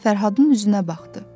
Fərhadın üzünə baxdı.